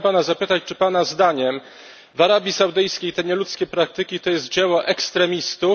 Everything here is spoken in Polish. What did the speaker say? Chciałem pana zapytać, czy pana zdaniem w Arabii Saudyjskiej te nieludzkie praktyki to jest dzieło ekstremistów?